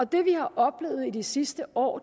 det vi har oplevet de sidste år